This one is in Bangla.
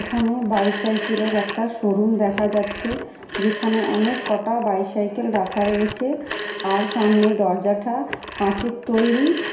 এখানে বাইসাইকেল এর একটা শোরুম দেখা যাচ্ছে যেখানে অনেক কটা বাইসাইকেল রাখা রয়েছে । আর সামনে দরজাঠা কাঁচের তৈরী।